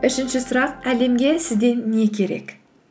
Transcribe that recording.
үшінші сұрақ әлемге сізден не керек